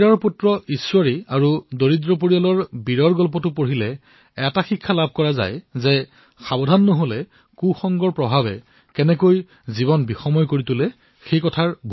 জমিদাৰৰ লৰা ঈশ্বৰী আৰু দুখীয়া পৰিয়াল বীৰৰ এই কাহিনীৰ দ্বাৰা আমি এই শিকনি পাও যে যদি আপুনি সাৱধান নহয় তেন্তে বেয়া অভ্যাসে কেতিয়া গা কৰি উঠিব সেয়া গমেই নাপাব